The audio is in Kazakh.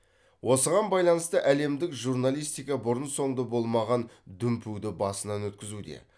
осыған байланысты әлемдік журналистика бұрын соңды болмаған дүмпуді басынан өткізуде